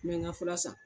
N bɛ n ka fura san